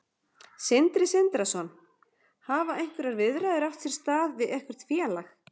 Sindri Sindrason: Hafa einhverjar viðræður átt sér stað við eitthvert félag?